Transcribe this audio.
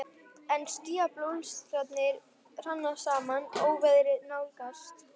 En skýjabólstrarnir hrannast saman, óveðrið nálgast.